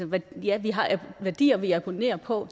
værdier ja vi har værdier vi abonnerer på